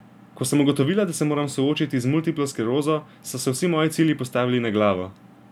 Ko sem ugotovila, da se moram soočiti z multiplo sklerozo, so se vsi moji cilji postavili na glavo.